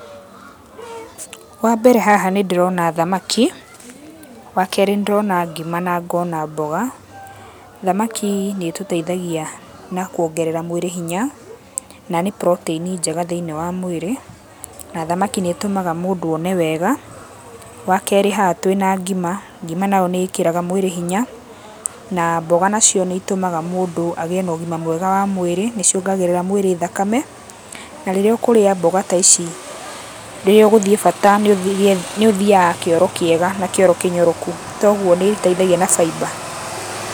Wambere haha nĩ ndĩrona thamaki, wakeerĩ nĩ ndĩrona ngĩma, na ngona mboga. Thamaki nĩ ĩtũteithagia na kũongerera mwĩrĩ hinya, na nĩ protein njega thĩinĩ wa mwĩrĩ, na thamaki nĩ tũmaga mũndũ one wega. Wakeerĩ haha twĩna ngĩma, ngĩma nayo nĩ ĩkĩraga mũndũ hinya. Na mboga nacio nĩ itũmaga mũndũ agĩĩ na ũgĩma mwega wa mwĩrĩ, nĩ ciongagĩrĩra mũndũ thakame. Na rĩrĩa ũkũrĩa mboga ta ici, rĩrĩa ũgũthiĩ bata nĩ ũthĩaga kĩoro kĩega, na kĩoro kĩnyoroku. kogũo nĩ iteithagia na [fibre].